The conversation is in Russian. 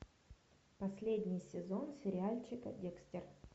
последний сезон сериальчика декстер